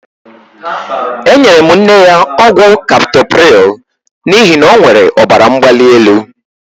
Enyere m nne ya ọgwụ kaptoprịl n'ihi na ọ nwere ọbaramgbalielu.